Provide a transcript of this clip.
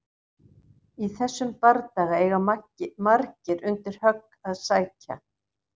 Í þessum bardaga eiga margir undir högg að sækja!